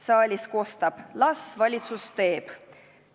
Saalist kostab: "Las valitsus teeb!